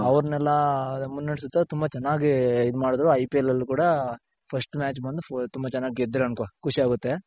ಅವರ್ನೆಲ್ಲ ಮುನ್ನೆಡುಸುತ್ತ ತುಂಬ ಚೆನ್ನಾಗಿ ಇದ್ ಮಾಡಿದ್ರು IPL ಅಲ್ಲು ಕೂಡ first match ಬಂದು ತುಂಬಾ ಚೆನ್ನಾಗ್ ಗೆದ್ರು ಅನ್ಕೋ ಖುಷಿಯಾಗುತ್ತೆ